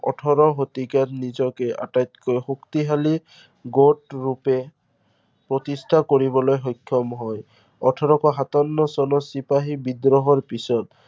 ওঠৰ শতিকাত নিজকে আটাইতকৈ শক্তিশালী, গোট ৰূপে প্ৰতিষ্ঠা কৰিবলৈ সক্ষম হয়। ওঠৰশ সাতাৱন্ন চনত চিপাহী বিদ্ৰোহৰ পিছত